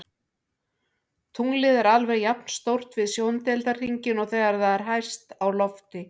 Tunglið er alveg jafn stórt við sjóndeildarhringinn og þegar það er hæst á lofti.